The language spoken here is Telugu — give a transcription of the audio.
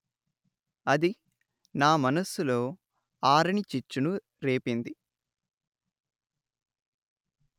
అది నా మనస్సులో ఆరనిచిచ్చును రేపింది